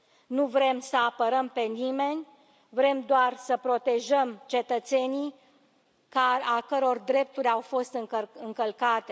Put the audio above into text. Nu vrem să apărăm pe nimeni, vrem doar să îi protejăm pe cetățenii ale căror drepturi au fost încălcate.